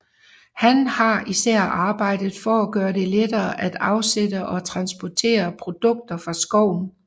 Han har især arbejdet for at gøre det lettere at afsætte og transportere produkter fra skoven